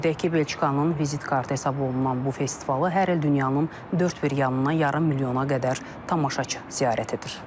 Qeyd edək ki, Belçikanın vizit kartı hesab olunan bu festivalı hər il dünyanın dörd bir yanından yarım milyona qədər tamaşaçı ziyarət edir.